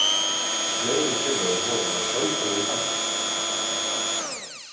Fleiri tillögur voru að sjálfsögðu samþykktar